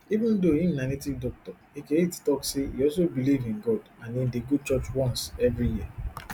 even though im na native doctor eke hit tok say e also believe in god and im dey go church once evri year